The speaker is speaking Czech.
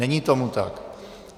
Není tomu tak.